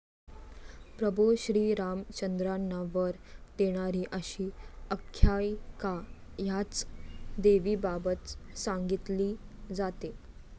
प्रभू श्रीरामचंद्रांना वर देणारी अशी आख्यायिका याच देवीबाबत सांगितली जाते.